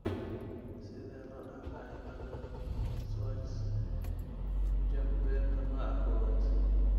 Sidee loo dhaxlaa cilada Schwartz Jampelka nooca kowaad?